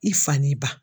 I fa n'i ban